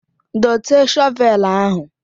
Dote shọvelu ahụ.